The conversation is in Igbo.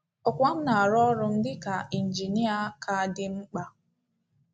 Ọ́kwá m na ọrụ m dị ka injinịa ka dị m mkpa.